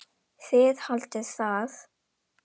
Þið haldið það.